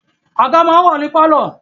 Àga máa ń wà ní pálọ̀